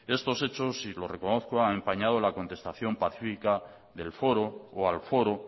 estos hechos y lo reconozco han empañado la contestación pacífica del foro o al foro